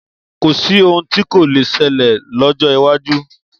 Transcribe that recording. Kò sí ohun tí kò le ṣẹlẹ̀ lọ́jọ́ iwájú.